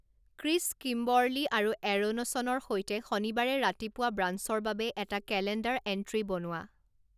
Chris Kimberly আৰু এৰ'নছনৰ সৈতে শনিবাৰে ৰাতিপুৱা ব্ৰাঞ্চৰ বাবে এটা কেলেণ্ডাৰ এণ্ট্ৰী বনোৱা